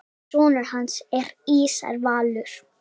Sonur hans er Ísar Valur.